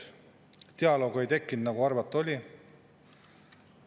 Dialoogi ei tekkinud, nagu arvata oli.